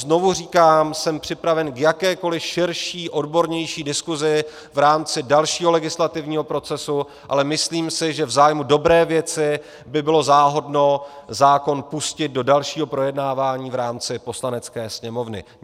Znovu říkám, jsem připraven k jakékoli širší odbornější diskusi v rámci dalšího legislativního procesu, ale myslím si, že v zájmu dobré věci by bylo záhodno zákon pustit do dalšího projednávání v rámci Poslanecké sněmovny.